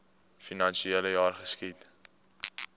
finansiele jaar geskied